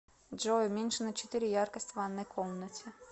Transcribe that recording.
джой уменьши на четыре яркость в ванной комнате